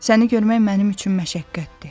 Səni görmək mənim üçün məşəqqətdir.